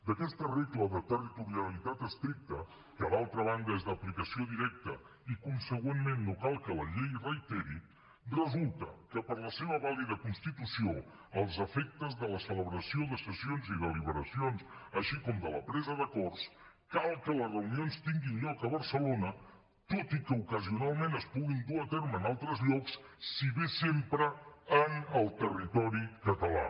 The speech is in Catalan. d’aquesta regla de territorialitat estricta que d’altra banda és d’aplicació directa i consegüentment no cal que la llei reiteri resulta que per a la seva vàlida constitució als efectes de la celebració de sessions i deliberacions així com de la presa d’acords cal que les reunions tinguin lloc a barcelona tot i que ocasionalment es puguin dur a terme en altres llocs si bé sempre en el territori català